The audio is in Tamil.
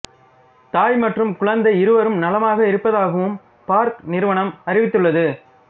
தாய் மற்றும் குழந்தை இருவரும் நலமாக இருப்பதாகவும் பார்க் நிறுவனம் அறிவித்துள்ளது